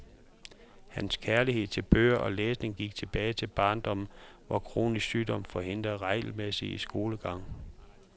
Hans kærlighed til bøger og læsning gik tilbage til barndommen, hvor kronisk sygdom forhindrede regelmæssig skolegang.